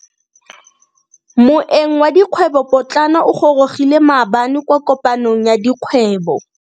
Moeng wa dikgwebo potlana o gorogile maabane kwa kopanong ya dikgwebo.